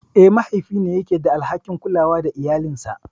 Eh, mahaifi ne yake da alhakin kulawa da iyalinsa.